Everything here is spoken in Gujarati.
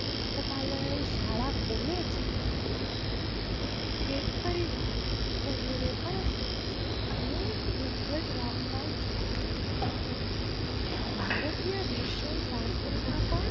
પુસ્તકાલય સાલા કૉલેજ કેતકરી વગેરે પણ સ્વચ્છ અને સુંદર રાખવું જોઈએ ભારતીય દર્શન પાત્ર માં પણ